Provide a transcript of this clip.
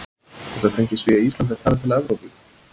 Þetta tengist því að Ísland er talið til Evrópu.